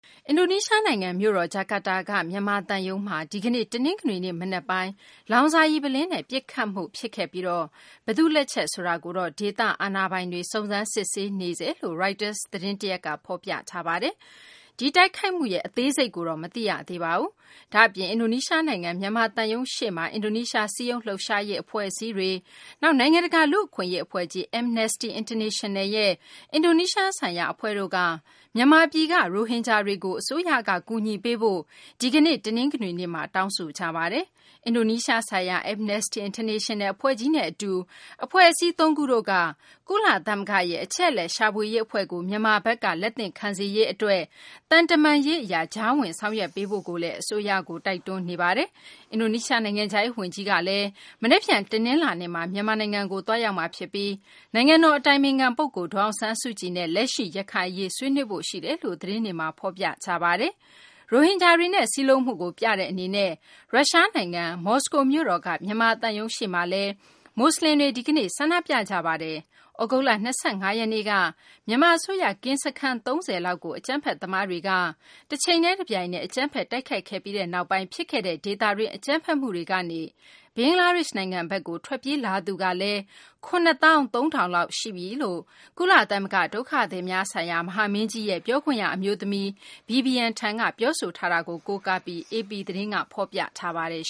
အင်ဒိုနီးရှားနိုင်ငံ မြို့တော် ဂျကာတာက မြန်မာသံရုံးကို ဒီကနေ့ တနင်္ဂနွေနေ့ မနက်ပိုင်း လောင်စာရည် ပုလင်းနဲ့ ပစ်ခဲ့မှု ဖြစ်ခဲ့ပြီး ဘယ်သူ့လက်ချက်ဆိုတာကို ဒေသအာဏာပိုင်တွေ စုံစမ်းစစ်ဆေးနေတယ်လို့ Reuters သတင်းက ဖော်ပြထားပါတယ်။ ဒီတိုက်ခိုက်မှု အသေးစိတ်ကိုတော့ မသိရပါဘူး။ ဒါ့အပြင် အင်ဒိုနီးရှား နိုင်ငံ မြန်မာသံရုံးရှေ့မှာ အင်ဒိုနီးရှား စည်းရုံးလှုပ်ရှားရေး အဖွဲ့အစည်းတွေ၊ နောက် နိုင်ငံတကာ လူ့အခွင့်အရေး အဖွဲ့ကြီး Amnesty International ရဲ့ အင်ဒိုနီးရှား ဆိုင်ရာ အဖွဲ့တို့က မြန်မာပြည်က ရိုဟင်ဂျာတွေကို အစိုးရဘက်က ကူညီပေးဖို့ ဒီကနေ့ တနင်္ဂနွေနေ့မှာ တောင်းဆိုကြပါတယ်။ အင်ဒိုနီးရှားဆိုင်ရာ Amnesty International အဖွဲ့ကြီးနဲ့ အတူ အဖွဲ့အစည်း သုံးခုတို့က ကုလသမဂ္ဂရဲ့ အချက်အလက် ရှာဖွေရေး အဖွဲ့ကို မြန်မာဘက်က လက်သင့်ခံစေရေး အတွက် သံတမန်ရေး အရ ကြားဝင် ဆောင်ရွက်ပေးဖို့ကိုလည်း အစိုးရကို တိုက်တွန်းပါတယ်။ အင်ဒိုနီးရှား နိုင်ငံခြားရေး ဝန်ကြီး မနက်ဖြန် တနလာၤနေ့မှာ မြန်မာနိုင်ငံကို သွားရောက်မှာ ဖြစ်ပြီး နိုင်ငံတော် အတိုင်ပင်ခံပုဂ္ဂိုလ် ဒေါ်အောင်ဆန်းစုကြည်နဲ့ လက်ရှိ ရခိုင်အရေးကို ဆွေးနွေးဖို့ ရှိတယ်လို့လည်း သတင်းတွေမှာ ဖော်ပြကြပါတယ်။ ရိုဟင်ဂျာတွေနဲ့ စည်းလုံးမှုကို ပြတဲ့ အနေနဲ့ ရုရှားနိုင်ငံ မော်စကိုမြို့တော်က မြန်မာသံရုံးရှေ့မှာလည်း မူဆလင်တွေ ဒီကနေ့ ဆန္ဒပြခဲ့ကြပါတယ်။ သြဂုတ်လ ၂၅ ရက်နေ့က မြန်မာ အစိုးရ ကင်းစခန်း ၃၀ လောက်ကို အကြမ်းဖက်သမားတွေက တချိန်တည်း တပြိုင်တည်း အကြမ်းဖက် တိုက်ခိုက်ခဲ့ပြီးနောက်ပိုင်း ဖြစ်ခဲ့တဲ့ ဒေသတွင်း အကြမ်းဖက်မှုတွေကနေ ဘင်္ဂလားဒေရှ့် နိုင်ငံဘက်ကို ထွက်ပြေးလာသူကလည်း ၇ သောင်း ၃ ထောင်လောက် ရှိနေပြီလို့ ကုလသမဂ္ဂ ဒုက္ခသည်များဆိုင်ရာ မဟာမင်းကြီးရဲ့ ပြောခွင့်က အမျိုးသမီး Vivian Tan က ပြောဆိုကြောင်း AP သတင်းက ဖော်ပြထားပါတယ်